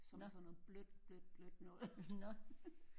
Som er sådan noget blødt blødt blødt noget